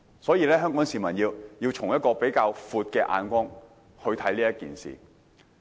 所以，香港市民要以比較寬闊的眼光看待這事。